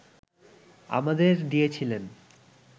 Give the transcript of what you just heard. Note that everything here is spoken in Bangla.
আমাদের দিয়েছিলেন